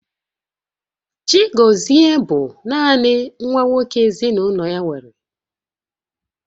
Chigozie bụ naanị nwa nwoke ezinaụlọ ya nwere